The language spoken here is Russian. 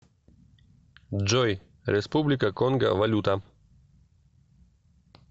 джой республика конго валюта